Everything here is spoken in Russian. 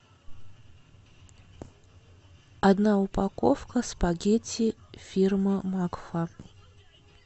одна упаковка спагетти фирмы макфа